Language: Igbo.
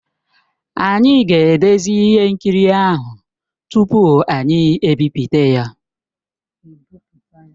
Anyị ga-edezi ihe nkiri ahụ tupu anyị ebipụta ya.